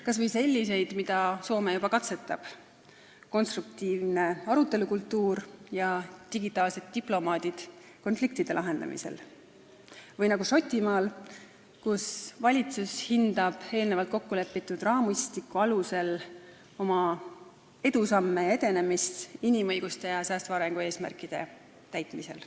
Kas või selliseid, mida Soome juba katsetab , või sellist mudelit nagu Šotimaal, kus valitsus hindab eelnevalt kokkulepitud raamistiku alusel oma edusamme ja edenemist inimõiguste ja säästva arengu eesmärkide täitmisel.